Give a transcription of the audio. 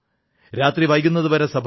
രാത്രി വൈകുന്നതുവരെ സഭ നടന്നു